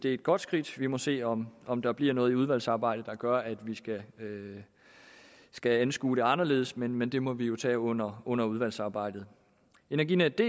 et godt skridt vi må se om om der bliver noget i udvalgsarbejdet der gør at vi skal skal anskue det anderledes men men det må vi tage under under udvalgsarbejdet energinetdk